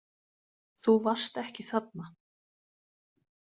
Þú varst ekki þarna.